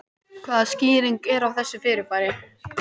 Hvaða skýring er á þessu fyrirbæri?